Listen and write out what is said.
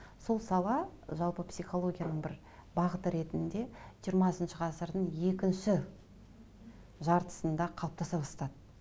сол сала жалпы психологияның бір бағыты ретінде жиырмасыншы ғасырдың екінші жартысында қалыптаса бастады